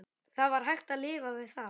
Það var hægt að lifa við það.